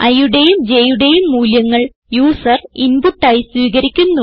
iയുടേയും jയുടേയും മൂല്യങ്ങൾ user input ആയി സ്വീകരിക്കുന്നു